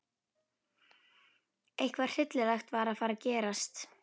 Eitthvað hryllilegt var að fara að gerast.